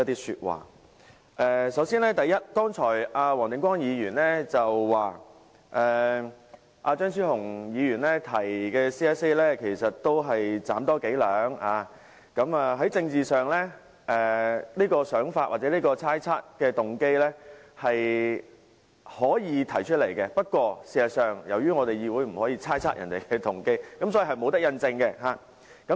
首先，黃定光議員剛才說張超雄議員提出的修正案是"斬多幾兩"，政治上大家可以提出這種想法或猜測別人的動機，不過，在議會內議員不應猜測其他議員的動機，所以不能印證。